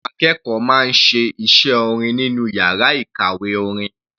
Àwọn akẹ́kọ̀ọ́ máa ń ṣe iṣẹ́ orin nínú yàrá ìkàwé orin.